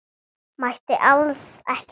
Mætti alls ekki draga það.